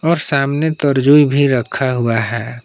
और सामने तो तर्जुई भी रखा हुआ है।